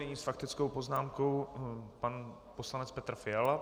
Nyní s faktickou poznámkou pan poslanec Petr Fiala.